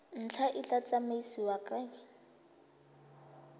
ntlha e tla tsamaisiwa ke